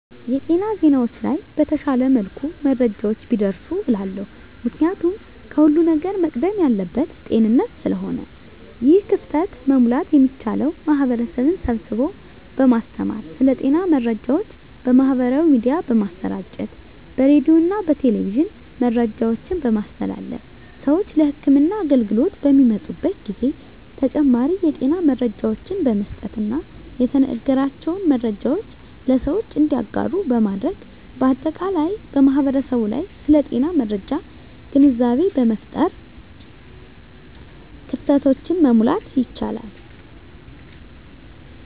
የጤና ዜናዎች ላይ በተሻለ መልኩ መረጃዎች ቢደርሱ እላለሁ። ምክንያቱም ከሁለም ነገር መቅደም ያለበት ጤንነት ስለሆነ ነው። ይህን ክፍተት መሙላት የሚቻለው ማህበረሰብን ስብስቦ በማስተማር ስለ ጤና መረጃዎች በማህበራዊ ሚዲያ በማሰራጨት በሬዲዮና በቴሌቪዥን መረጃዎችን በማስተላለፍ ስዎች ለህክምና አገልግሎት በሚመጡበት ጊዜ ተጨማሪ የጤና መረጃዎችን በመስጠትና የተነገራቸውን መረጃዎች ለሰዎች እንዲያጋሩ በማድረግ በአጠቃላይ በማህበረሰቡ ላይ ስለ ጤና መረጃ ግንዛቤ በመፍጠር ክፍተቶችን መሙላት ይቻላል።